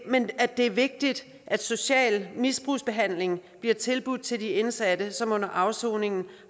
men at det er vigtigt at social misbrugsbehandling bliver tilbudt til de indsatte som under afsoningen